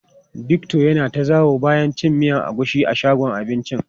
Victor ya na ta zawo bayan cin miyan agushi a shagon abincin.